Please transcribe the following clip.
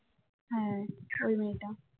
হ্যাঁ ওই মেয়েটা